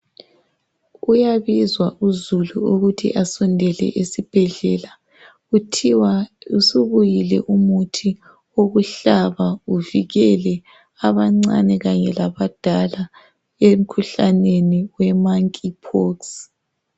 kuyabizwa uzulu ukuthi asondele esibhedlela kuthiwa usubuyile umuthi ukuhlaba uvikele abancane kanye labadala emkhuhlaneni we monkey pox